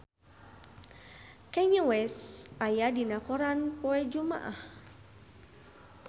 Kanye West aya dina koran poe Jumaah